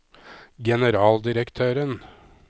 generaldirektøren